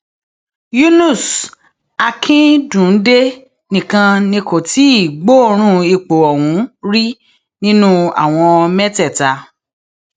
yunus akínńdúndé nìkan ni kò tí ì gbọọọrùn ipò ọhún rí nínú àwọn mẹtẹẹta